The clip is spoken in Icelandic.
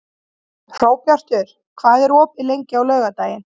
Hróbjartur, hvað er opið lengi á laugardaginn?